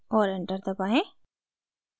और enter दबाएं